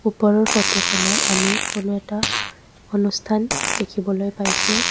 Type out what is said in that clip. ওপৰৰ ফটোখনত আমি কোনো এটা অনুষ্ঠান দেখিবলৈ পাইছোঁ।